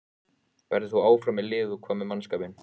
Verður þú áfram með liðið og hvað með mannskapinn?